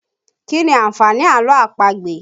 Kí ni àǹfààní àlọ́ àpagbè?